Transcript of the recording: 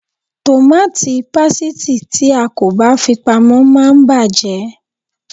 Tòmàtì pásítìì tí a kò bá fi pamọ́ máa bàjé.